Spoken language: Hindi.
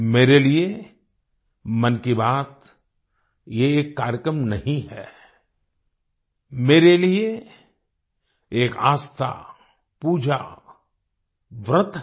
मेरे लिए मन की बात ये एक कार्यक्रम नहीं है मेरे लिए एक आस्था पूजा व्रत है